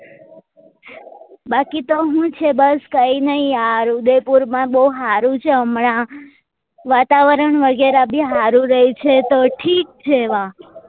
બાકી તો હું છે બસ કાઈ નહી આ ઉદયપુર માં બઉ હારું છે હમણાં વાતાવરણ વગેર બી હારું રે છે તો ઠીક છે વાં